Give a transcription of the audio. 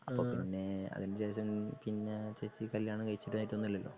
ഉം അപ്പൊ പിന്നെ അതിനുശേഷം പിന്നെ ചേച്ചി കല്യാണം കഴിച്ചതായിട്ടൊന്നും ഇല്ലല്ലോ?